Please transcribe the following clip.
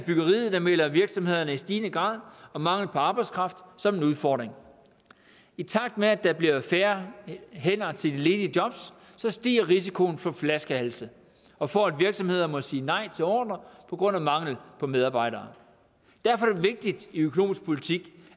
i byggeriet melder virksomhederne i stigende grad om mangel på arbejdskraft som en udfordring i takt med at der bliver færre hænder til de ledige jobs stiger risikoen for flaskehalse og for at virksomheder må sige nej til ordrer på grund af mangel på medarbejdere derfor er det vigtigt i økonomisk politik